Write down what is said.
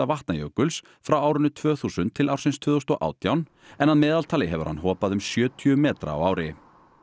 Vatnajökuls frá árinu tvö þúsund til ársins tvö þúsund og átján en að meðaltali hefur hann hopað um sjötíu metra á ári